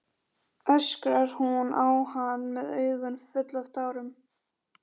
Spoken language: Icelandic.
öskrar hún á hann með augun full af tárum.